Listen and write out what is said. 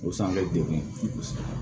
O san bɛ degun kosɛbɛ